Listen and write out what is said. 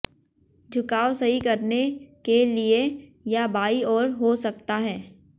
झुकाव सही करने के लिए या बाईं ओर हो सकता है